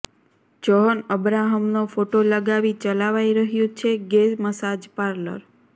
John અબ્રાહમનો photo લગાવી ચલાવાઈ રહ્યું છે ગે મસાજ પાર્લર